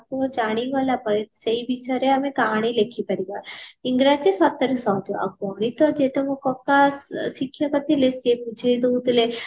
ଜାଣିଗଲା ପରେ ସେଇ ବିଷୟରେ ଆମେ କାହାଣୀ ଲେଖିପାରିବା ଇଂରାଜୀ ସତରେ ସହଜ ଆଉ ଗଣିତ ଯେହେତୁ ମୋ କକା ଶିକ୍ଷକ ଥିଲେ ସିଏ ବୁଝେଇ ଦଉଥିଲେ